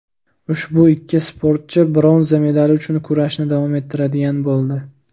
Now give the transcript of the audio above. Ushbu ikki sportchi bronza medali uchun kurashni davom ettiradigan bo‘ldi.